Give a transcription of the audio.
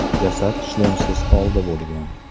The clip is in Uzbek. Jasad shlemsiz holda bo‘lgan.